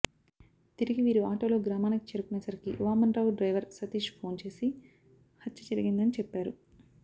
తిరిగి వీరు ఆటోలో గ్రామానికి చేరుకునేసరికి వామన్రావు డ్రైవర్ సతీష్ ఫోన్చేసి హత్య జరిగిందని చెప్పారు